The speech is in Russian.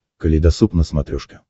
калейдосоп на смотрешке